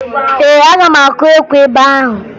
Ee, aga m akụ ekwe ebe ahụ